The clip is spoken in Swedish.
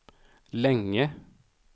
länge